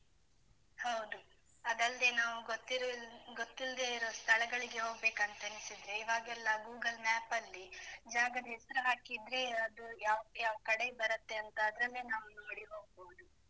ಹೌದು ಅದಲ್ದೇ ನಾವು ಗೊತ್ತಿರ್~ ಗೊತ್ತಿಲ್ದೇ ಇರೋ ಸ್ಥಳಗಳಿಗೆ ಹೋಗ್ಬೇಕಂತ ಅನಿಸಿದ್ರೆ, ಇವಾಗೆಲ್ಲ Google Map ಅಲ್ಲಿ ಜಾಗದ ಹೆಸ್ರು ಹಾಕಿದ್ರೆ ಅದು ಯಾವ್ ಯಾವ್ ಕಡೆ ಬರುತ್ತೆ ಅಂತ ಅದನ್ನೇ ನಾವು ನೋಡಿ ಹೋಗ್ಬೋದು.